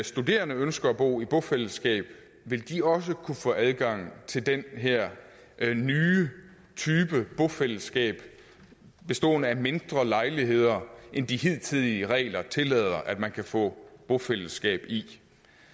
studerende ønsker at bo i bofællesskab vil de også kunne få adgang til den her nye type bofællesskab bestående af mindre lejligheder end de hidtidige regler tillader at man kan få bofællesskab i